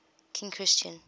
king christian